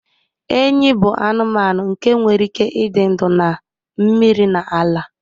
Enyí bụ anụmanụ nke nwere ike ịdị ndụ na mmiri na ala.